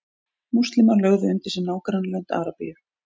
múslímar lögðu undir sig nágrannalönd arabíu